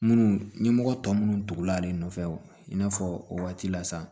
Munnu ɲɛmɔgɔ tɔ minnu tugula ale nɔfɛ i n'a fɔ o waati la sa